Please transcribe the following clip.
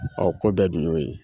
ko bɛɛ dun y'o ye.